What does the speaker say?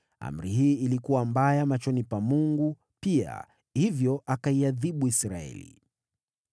Amri hii ilikuwa mbaya machoni pa Mungu pia; hivyo akaiadhibu Israeli.